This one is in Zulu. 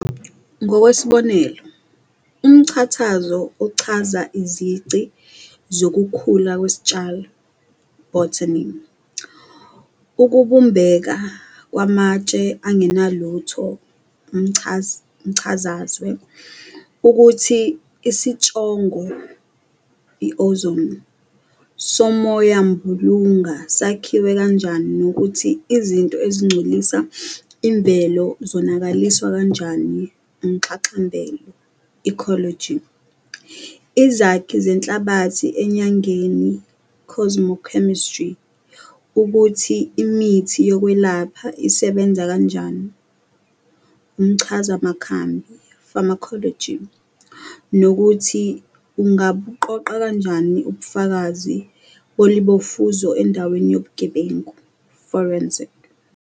Ngokwesibonelo, umChazatho uchaza izici zokukhula kwesitshalo "botany", ukubumbeka kwamatshe angenalutho, umChazazwe, ukuthi isiNtshongo "ozone" somoyambulunga sakhiwe kanjani nokuthi izinto ezingcolisa imvelo zonakaliswa kanjani uxhaxhamvelo "ecology", izakhi zenhlabathi enyangeni, cosmoikhemistri, ukuthi imithi yokwelapha isebenza kanjani, umchazamakhambi "pharmacology", nokuthi ungabuqoqa kanjani ubufakazi bolibofuzo endaweni yobugebengu "Forensic".